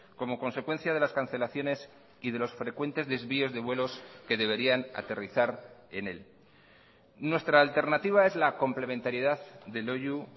como consecuencia de las cancelaciones y de los frecuentes desvíos de vuelos que deberían aterrizar en él nuestra alternativa es la complementariedad de loiu